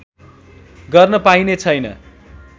गर्न पाइने छैन